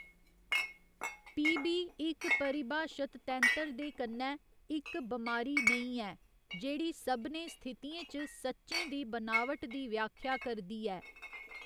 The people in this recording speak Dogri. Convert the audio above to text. पी. बी. इक परिभाशत तैंतर दे कन्नै इक बमारी नेईं ऐ जेह्ड़ी सभनें स्थितियें च सच्चें दी बनावट दी व्याख्या करदी ऐ।